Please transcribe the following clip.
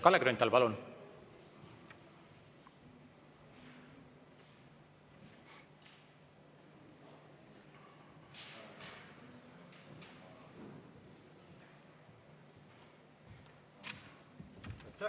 Kalle Grünthal, palun!